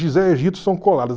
Gizé e Egito são coladas.